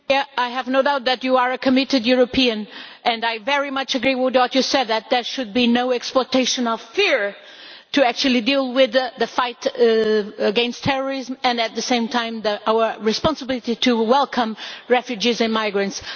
I have no doubt that you are a committed European and I very much agree with what you said that there should be no exploitation of fear when dealing with the fight against terrorism and, at the same time, our responsibility to welcome refugees or migrants.